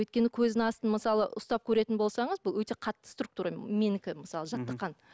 өйткені көздің астын мысалы ұстап көретін болсаңыз бұл өте қатты структура менікі мысалы жаттыққан